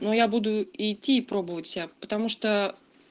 ну я буду и идти и пробовать себя потому что